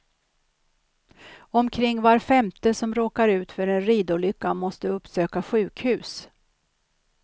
Omkring var femte som råkar ut för en ridolycka måste uppsöka sjukhus.